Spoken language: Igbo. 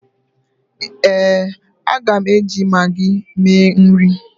éè, a ga m eji maggi mee nri